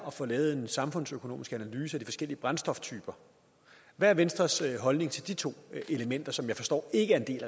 at få lavet en samfundsøkonomisk analyse af de forskellige brændstoftyper hvad er venstres holdning til de to elementer som jeg forstår ikke